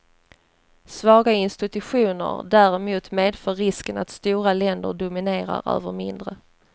Svaga institutioner däremot medför risken att stora länder dominerar över mindre.